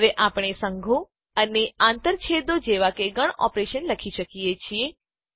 હવે આપણે સંઘો યુનિયન્સ અને આંતરછેદો ઇન્ટરસેક્શન્સ જેવા ગણ ઓપરેશન લખી શકીએ છીએ